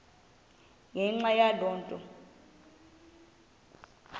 ngenxa yaloo nto